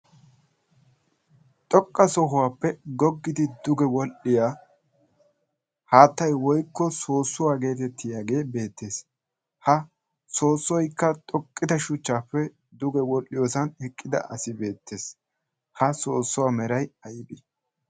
Xoqqa sohuwaappe goggidi duge wodhdhiya haattay woykko soossuwaa geetettiyaagee beettees. ha soossoykka xoqqida shuchchaappe duge wodhdhiyoosan eqqida asay beettees. ha soossuwaa meray aybbe?